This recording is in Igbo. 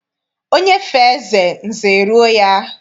Onye fee eze, nze eruo ya.